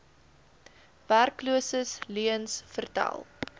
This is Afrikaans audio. werkloses leuens vertel